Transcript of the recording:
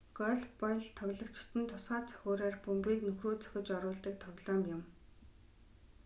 гольф бол тоглогчид нь тусгай цохиураар бөмбөгийг нүхрүү цохиж оруулдаг тоглоом юм